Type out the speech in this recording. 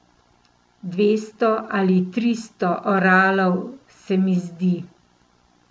Dvesto ali tristo oralov, se mi zdi ...